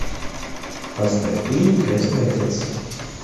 поставь фильм крестный отец